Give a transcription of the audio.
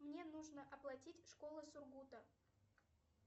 мне нужно оплатить школа сургута